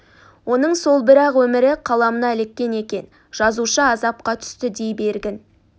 оның сол бір-ақ өмірі қаламына іліккен екен жазушы азапқа түсті дей бергін